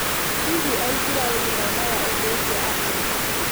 Hihi Aisiraeli monaga ũndũ ũcio atĩa?